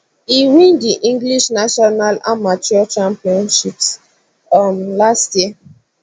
e win di english national amateur championships um last year